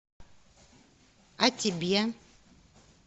о тебе